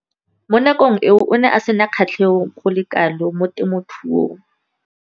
Mo nakong eo o ne a sena kgatlhego go le kalo mo temothuong.